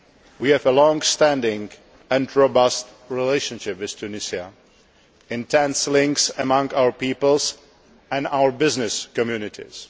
We have a long standing and robust relationship with Tunisia and close links between our peoples and our business communities.